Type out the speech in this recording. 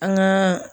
An gaa